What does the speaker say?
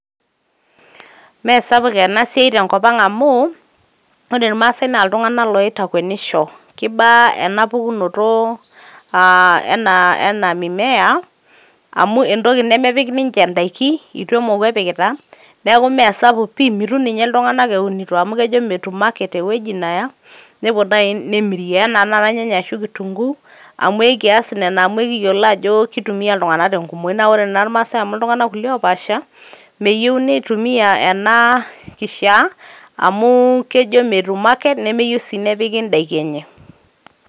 mmee sapuk ena siai tenkop ang amu ore irmaasae naa iltunganak oitakwenisho kiba ena pukunto ena ena mimea amu entoki nemepik ninche indaiki emoku epikita niaku mme sapuk pi ,mitum ninye iltungank eunito amu kejo metum market ewueji neya . nepuo nai nemirie anaa nai irnyanya ashu kitunguu ekias nena amu ekiyiolo ajo kitumia iltunganak tenkumoi . naa ore naa irmaasae amu iltunganak kulie oopaasha meyieu nitumia ena kishaa kejo metum market nemeyieu sii nepiki indaiki enye.